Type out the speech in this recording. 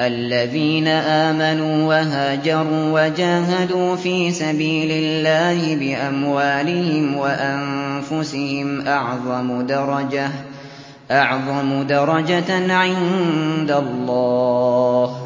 الَّذِينَ آمَنُوا وَهَاجَرُوا وَجَاهَدُوا فِي سَبِيلِ اللَّهِ بِأَمْوَالِهِمْ وَأَنفُسِهِمْ أَعْظَمُ دَرَجَةً عِندَ اللَّهِ ۚ